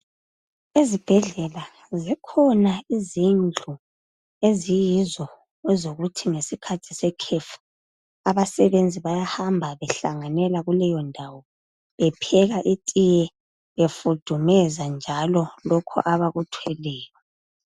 Ezibhedlela zikhona izindlu eziyizo ezokuthi ngesikhathi sekhefu abasebenzi bayahamba behlanganela kuleyondawo bepheka itiye, befudumeza njalo lokhu abakuthweleyo.